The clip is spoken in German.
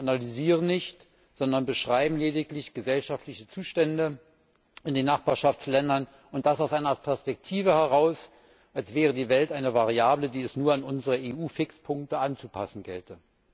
Sie analysieren nicht, sondern beschreiben lediglich gesellschaftliche Zustände in den Nachbarschaftsländern, und das aus einer Perspektive heraus, als wäre die Welt eine Variable, die es nur an unsere EU Fixpunkte anzupassen gelte.